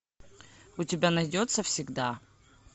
у тебя найдется всегда